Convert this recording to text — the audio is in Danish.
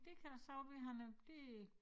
Det kan se ud ved han er det